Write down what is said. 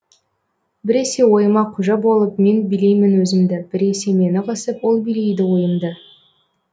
біресе ойыма қожа болып мен билеймін өзімді біресе мені қысып ол билейді ойымды